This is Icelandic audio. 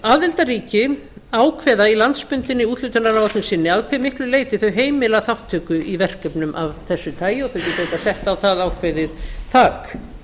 aðildarríki ákveða í landsbundinni úthlutunarlosun sinni að hve miklu leyti þau heimila þátttöku í verkefnum af þessu tagi og þau geta auðvitað sett á það ákveðið þak